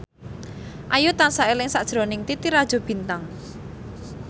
Ayu tansah eling sakjroning Titi Rajo Bintang